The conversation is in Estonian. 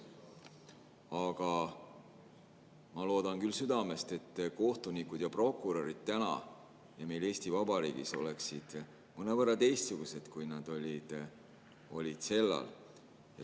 Aga ma loodan küll südamest, et kohtunikud ja prokurörid on täna Eesti Vabariigis mõnevõrra teistsugused, kui nad olid sellal.